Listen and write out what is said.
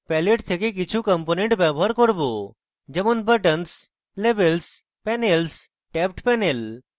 palette থেকে কিছু component ব্যবহার করব যেমন buttons labels panels tabbed panel